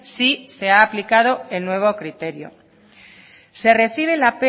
sí se ha aplicado el nuevo criterio se recibe la